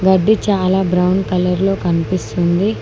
గడ్డి చాలా brown colour లో కనిపిస్తుంది.